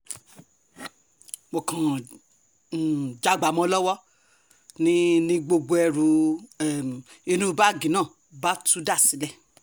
mo kàn um já a gbà mọ́ ọn lọ́wọ́ ni ni gbogbo ẹrù um inú báàgì náà bá tú dà sílẹ̀